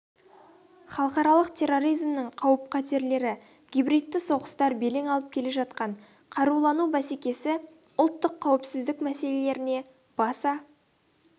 халықаралық терроризмнің қауіп-қатерлері гибридті соғыстар белең алып келе жатқан қарулану бәсекесі ұлттық қауіпсіздік мәселелеріне баса